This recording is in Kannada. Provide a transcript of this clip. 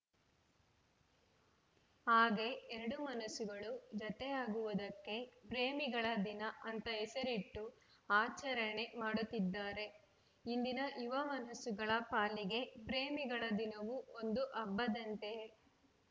ಹಾಗೆ ಎರಡು ಮನಸ್ಸುಗಳು ಜತೆಯಾಗುವುದಕ್ಕೆ ಪ್ರೇಮಿಗಳ ದಿನ ಅಂತ ಹೆಸರಿಟ್ಟು ಆಚರಣೆ ಮಾಡುತ್ತಿದ್ದಾರೆ ಇಂದಿನ ಯುವ ಮನಸ್ಸುಗಳ ಪಾಲಿಗೆ ಪ್ರೇಮಿಗಳ ದಿನವೂ ಒಂದು ಹಬ್ಬದಂತೆಯೇ